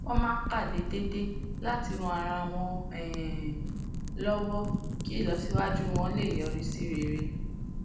wón máa ń pàdé déédéé láti ran ara wọn um lówó kí ìlọsíwájú wọn lè yọrí sí rere